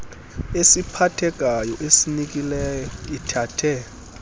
esiphathekayo esinikileyo ithathe